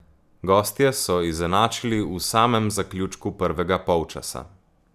Gostje so izenačili v samem zaključku prvega polčasa.